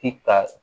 Ti ka